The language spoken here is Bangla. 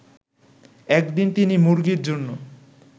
একদিন তিনি মুরগির জন্য